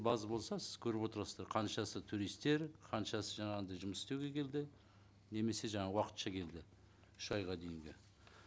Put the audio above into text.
база болса сіз көріп отырасыздар қаншасы туристтер қаншасы жаңағындай жұмыс істеуге келді немесе жаңа уақытша келді үш айға дейінгі